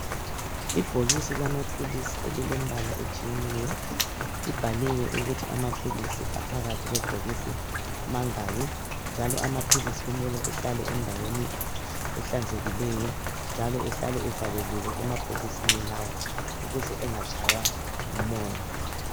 Ibhokisi lamaphilisi elilembala etshiyeneyo libhaliwe ukuthi amaphilisi aphakathi kwebhokisi mangaki. Njalo amaphilisi kumele ehlale endaweni ehlanzekileyo njalo ehlale evaleliwe emabhokisini lawa ukuze engatshaywa ngumoya.